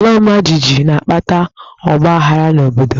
Alaọmajijiji na-akpata ọgbaaghara n'obodo.